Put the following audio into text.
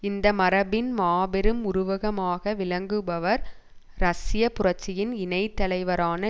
இந்த மரபின் மாபெரும் உருவகமாக விளங்குபவர் ரஷ்ய புரட்சியின் இணைத்தலைவரான